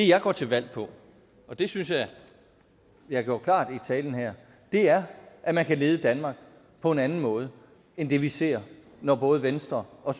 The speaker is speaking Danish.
jeg går til valg på og det synes jeg at jeg gjorde klart i talen her er at man kan lede danmark på en anden måde end det vi ser når både venstre og